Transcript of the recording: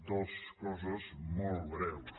dues coses molt breus